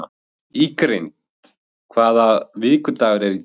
Ingrid, hvaða vikudagur er í dag?